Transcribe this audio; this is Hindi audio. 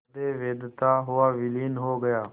हृदय वेधता हुआ विलीन हो गया